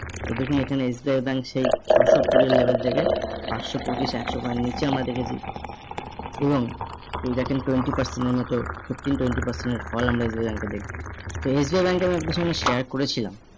তো দেখুন এখানে SBI bank সেই ছশো-কুড়ির level থেকে পাঁচশো-পঁচিশ একশো বারের নিচে আমরা দেখেছি এবং এই দেখেন twenty percent এর মতো fifteen twenty percent এর ফল আমরা SBI bank এ দেখছি। SBI bank এর আমি আপনাদের সঙ্গে share করেছিলাম